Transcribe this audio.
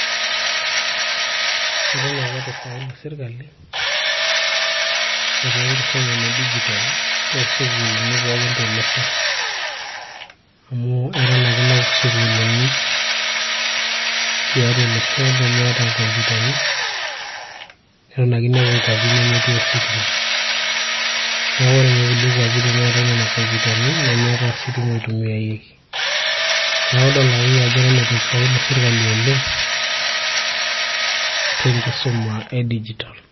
eton ake eitu ifaulu sirkali aitaa enkisuma ene dijitol toosukuulini pookin tolosho amu eton ake inepu isukuulini tiatua olosho nemeeta inkompyutani neton ake inepu inkuapi nemetii ositima neeku ore ninye kulie kuapi tennetay nena kompyutani nemeetay ostima oitumiaeki neeku idol akeyie ajo eton eitu ifaulu sirkali oleng tenkisuma e dijitol.